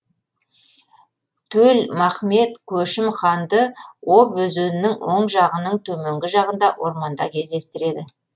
төл махмет көшім ханды об өзенінің оң жағының төменгі жағында орманда кездестіреді